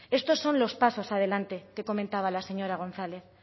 estos son los pasos adelante que comentaba la señora gonzález